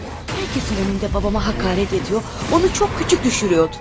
Hər kəsin önündə babamı həqarət edir, onu çox kiçik düşürürdü.